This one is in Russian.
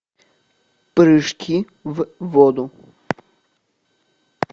прыжки в воду